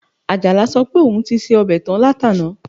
Àjàlá sọ pé òun ti se ọbẹ̀ tán látàná